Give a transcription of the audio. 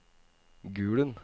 Gulen